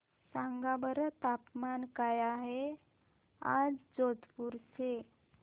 सांगा बरं तापमान काय आहे आज जोधपुर चे